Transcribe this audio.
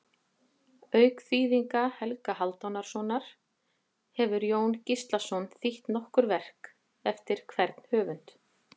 Auk þýðinga Helga Hálfdanarsonar hefur Jón Gíslason þýtt nokkur verk eftir hvern höfund.